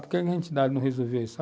Por que a entidade não resolveu isso?